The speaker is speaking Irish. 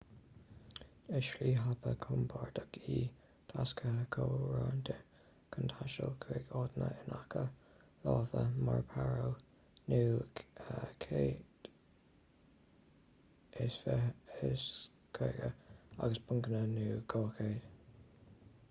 is slí thapa chompordach í tacsaithe comhroinnte chun taisteal chuig áiteanna in aice láimhe mar paro nu 150 agus punakha nu 200